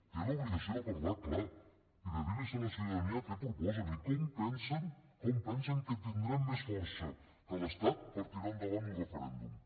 té l’obligació de parlar clar i de dir a la ciutadania què proposen i com pensen com pensen que tindrem més força que l’estat per tirar endavant un referèndum